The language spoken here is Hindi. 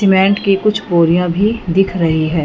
सीमेंट की कुछ बोरियां भी दिख रही है।